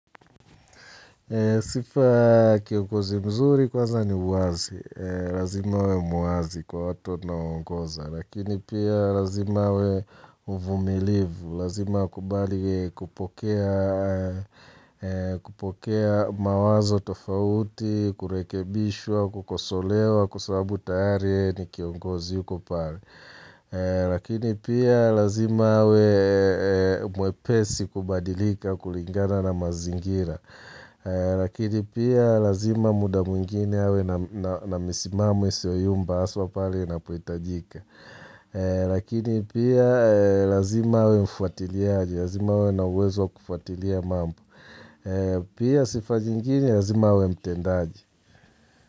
Sifa kiongozi mzuri kwanza ni uwazi, lazima awe muwazi kwa watu anaongoza, lakini pia lazima awe mvumilivu, lazima akubali yeye kupokea kupokea mawazo tofauti, kurekebishwa, kukosolewa, kwa sababu tayari yeye ni kiongozi uko pale. Lakini pia lazima awe mwepesi kubadilika kulingana na mazingira Lakini pia lazima muda mwingine awe na misimamo isiyoyumba haswa pale inapohitajika Lakini pia lazima awe mfuatiliaji, lazima awe na uwezo wa kufwatilia mambo. Pia sifa zingine lazima awe mtendaji.